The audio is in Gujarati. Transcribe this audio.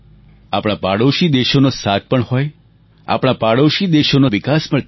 આપણા પાડોશી દેશોનો સાથ પણ હોય આપણા પાડોશી દેશોનો વિકાસ પણ થાય